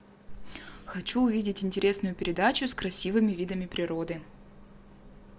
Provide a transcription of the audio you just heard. хочу увидеть интересную передачу с красивыми видами природы